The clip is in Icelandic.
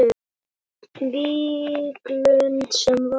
Víglund sem var.